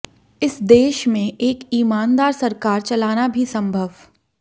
इस देश में एक ईमानदार सरकार चलाना भी संभव